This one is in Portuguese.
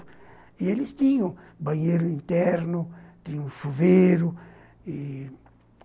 E eles tinham banheiro interno, tinham chuveiro eh...